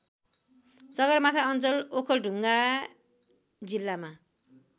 सगरमाथा अञ्चल ओखलढुङ्गा जिल्लामा